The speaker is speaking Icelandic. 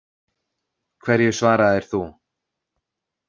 Hverju svaraðir þú?